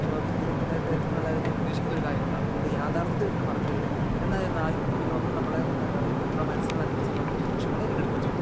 ഒരു വിനോദത്തിലധികം നന്നായിട്ട് ഏർപ്പെടും ന്നുള്ള ഞാൻ ഉദ്ദേശിക്കുന്ന ഒരു കാര്യം കൊണ്ടാണ്. നമ്മള് യാഥാർഥ്യത്തിൽ ഇത് മറക്കരുത് എന്നാ യിരുന്നാലും വിനോദം നമ്മളെ നമ്മുടെ മനസ്സിന് നൽകുന്ന സന്തോഷങ്ങളെ എറ്റെടുക്കുകയും ചെയ്യാം.